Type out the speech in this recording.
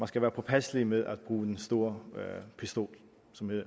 skal være påpasselig med at bruge den store pistol